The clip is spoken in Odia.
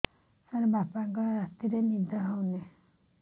ସାର ବାପାଙ୍କର ରାତିରେ ନିଦ ହଉନି